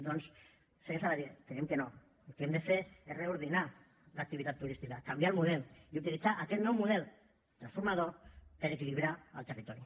doncs senyor saladié creiem que no el que hem de fer és reordenar l’activitat turística canviar el model i utilitzar aquest nou model transformador per equilibrar el territori